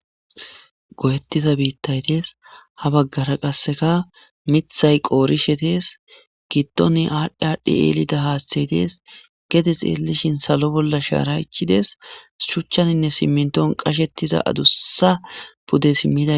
go7ettiza biittay dees ha baggara qasseka mithay qoorishe dees giddone aadhdhi aadhdhi ellida haaththey dees gede xeelishin salo bolla shaaray ichidees shuchchaninne simminton qashettiza adussa pude simmida